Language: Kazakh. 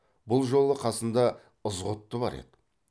бұл жолы қасында ызғұтты бар еді